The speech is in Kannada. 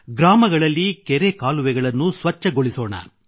ಗ್ರಾಮಗಳಲ್ಲಿ ಕೆರೆ ಕಾಲುವೆಗಳನ್ನು ಸ್ವಚ್ಛಗೊಳಿಸೋಣ